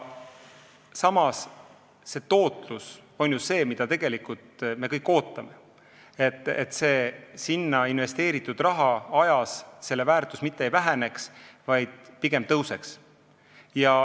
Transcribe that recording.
Samas, tootlus on ju see, mida me tegelikult kõik ootame, selleks et investeeritud raha väärtus ajas mitte ei väheneks, vaid pigem suureneks.